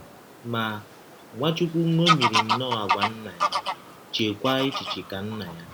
Ma, Nwachụkwụ ṅọmiri nnọọ àgwà Nna ya, cheekwa echiche ka Nna ya.